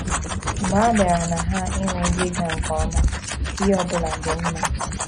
Mgbe a bịara na ha inwe ihe ịga nke ọma, ihe ọ bụla dị mma.